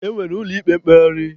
E nwere ụlọ ikpe mkpegharị.